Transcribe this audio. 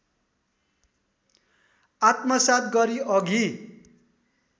आत्मसात गरी अघि